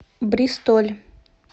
бристоль